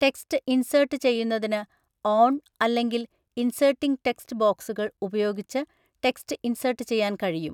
Text insert ചെയ്യുന്നതിന് on, അല്ലെങ്കിൽ inserting text ബോക്സുകൾ, ഉപയോഗിച്ച് ടെക്സ്റ്റ് ഇൻസേട്ട് ചെയ്യാൻ കഴിയും.